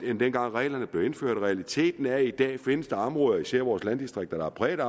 end dengang reglerne blev indført realiteten er i dag at der findes områder især i vores landdistrikter der er præget